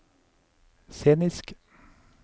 scenisk